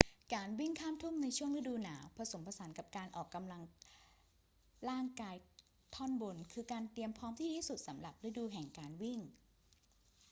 การวิ่งข้ามทุ่งในช่วงฤดูหนาว ผสมผสานกับการออกกำลังร่างกายท่อนบน คือการเตรียมพร้อมที่ดีที่สุดสำหรับฤดูแห่งการวิ่ง